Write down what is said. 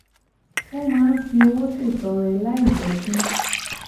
ó máa ń fi owó ṣètọrẹ láìjé kí